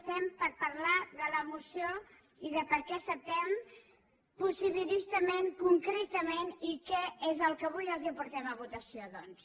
estem per parlar de la moció i de què acceptem possibilistament concretament i què és el que avui els portem a votació doncs